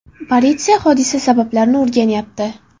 Politsiya hodisa sabablarini o‘rganyapti.